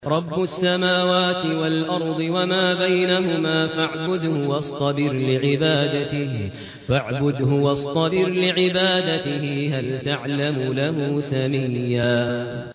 رَّبُّ السَّمَاوَاتِ وَالْأَرْضِ وَمَا بَيْنَهُمَا فَاعْبُدْهُ وَاصْطَبِرْ لِعِبَادَتِهِ ۚ هَلْ تَعْلَمُ لَهُ سَمِيًّا